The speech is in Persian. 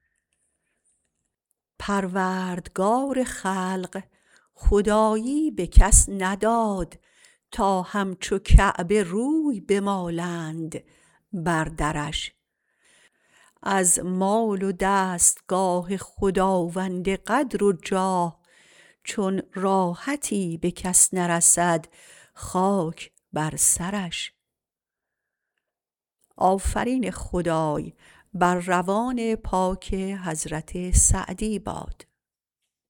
پروردگار خلق خدایی به کس نداد تا همچو کعبه روی بمالند بر درش از مال و دستگاه خداوند قدر و جاه چون راحتی به کس نرسد خاک بر سرش